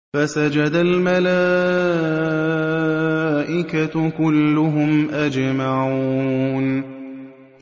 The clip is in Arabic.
فَسَجَدَ الْمَلَائِكَةُ كُلُّهُمْ أَجْمَعُونَ